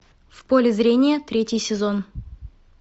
в поле зрения третий сезон